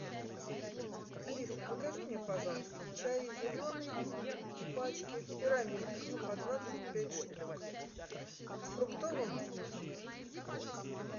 алиса закажи мне пожалуйста чай зеленый в пачке в пирамидках по двадцать пять штук с фруктовым вкусом